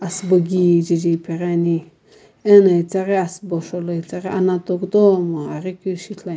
asiiboki kijae jae epaghiane ana etaghi asubo sho lo ana toh kutomo ahji keu ishi ithulu ane.